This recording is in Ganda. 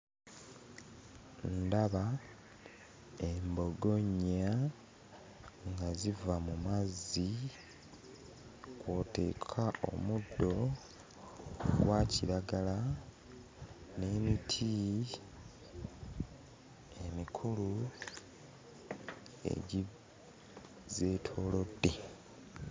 Ndaba embogo nnya nga ziva mu mazzi kw'oteeka omuddo gwa kiragala n'emiti emikulu egizeetoolodde.